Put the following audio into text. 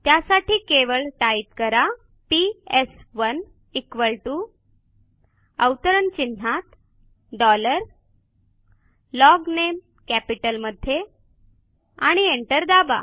त्यासाठी केवळ टाईप करा पीएस1 equal टीओ अवतरण चिन्हात डॉलर लॉगनेम कॅपिटलमध्ये आणि एंटर दाबा